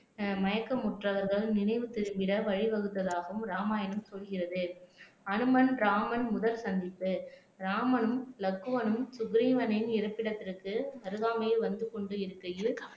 ஆஹ் மயக்கமுற்றவர்கள் நினைவு திரும்பிட வழிவகுத்ததாகவும் இராமாயணம் சொல்கிறது அனுமன் ராமன் முதல் சந்திப்பு ராமனும் லக்வனும் சுக்ரீவனின் இருப்பிடத்திற்கு அருகாமையில் வந்து கொண்டிருக்கையில்